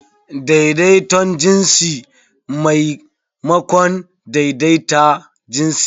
Daidaiton jinsi maimakon daidaita jinsi.